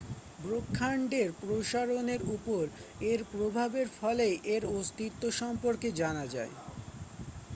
ব্রহ্মান্ডের প্রসারণের উপর এর প্রভাবের ফলেই এর অস্তিত্ব সম্পর্কে জানা যায়